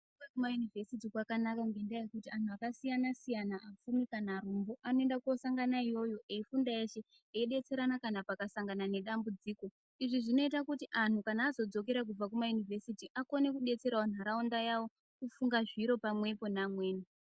....kumayunivhesiti kwakanaka ngendaa yekuti antu akasiyana-siyana apfumi kana arombo anoenda kunosangana iyoyo eifunda eshe eidetserana kana pakasangana nedambudziko. Izvi zvinoita kuti anhu kana azodzokere kubva kumayunivhesiti akone kudetserawo nharaunda yavo kufunga zviro pamwepo neamweni.